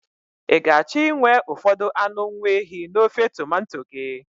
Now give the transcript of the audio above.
Ị ga-achọ inwe ụfọdụ anụ nwaehi n'ofe tomanto gị?